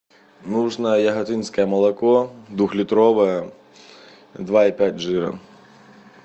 нужно яготинское молоко двухлитровое два и пять жира